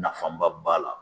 Nafanba b'a la.